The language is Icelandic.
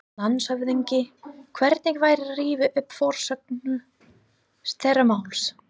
LANDSHÖFÐINGI: Hvernig væri að rifja upp forsögu þessa máls?